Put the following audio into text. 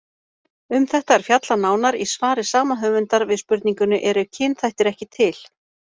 Um þetta er fjallað nánar í svari sama höfundar við spurningunni Eru kynþættir ekki til?